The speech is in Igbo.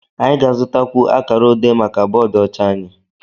anyị ga-azụtakwu akara odé maka bọọdụ ọcha anyị